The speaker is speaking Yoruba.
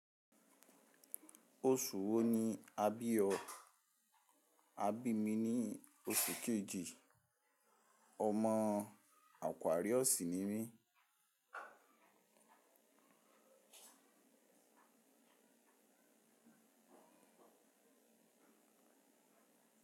Oṣù wo ni a bí ọ? A bí mi ní oṣù kejì, ó ọmọ àkuàriọ̀sì ni mí.